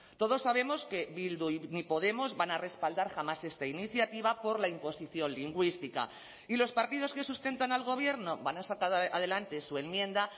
todos sabemos que bildu ni podemos van a respaldar jamás esta iniciativa por la imposición lingüística y los partidos que sustentan al gobierno van a sacar adelante su enmienda